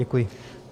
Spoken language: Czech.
Děkuji.